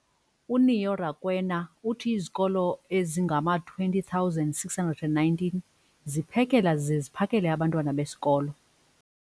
uNeo Rakwena, uthi izikolo ezingama-20 619 ziphekela zize ziphakele abantwana besikolo.